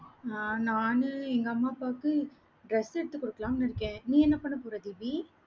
நா~ நானு எங்க அம்மா, அப்பாவுக்கு, dress எடுத்து குடுக்கலாம்னு, இருக்கேன் நீ, என்ன பண்ண போற, தீபி?